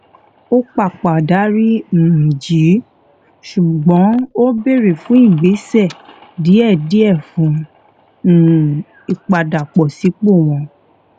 ó pàpà dárí um jì í ṣùgbón ó béèrè fún ìgbésẹ díẹdíẹ fún um ìpadàbọsípò wọn